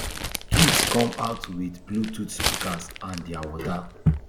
kids come out wit bluetooth speakers and dia water